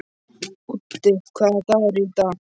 Úddi, hvaða dagur er í dag?